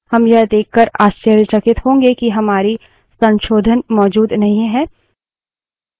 हम यह देककर आश्चर्यचकित होंगे कि हमारे संशोधन मौजूद नहीं हैं